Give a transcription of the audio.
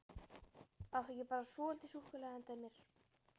Áttu ekki bara svolítið súkkulaði handa mér?